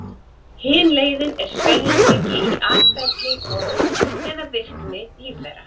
Hin leiðin er sveigjanleiki í atferli, formi eða virkni lífvera.